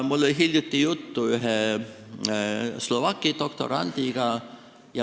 Mul oli hiljuti juttu ühe Slovaki doktorandiga.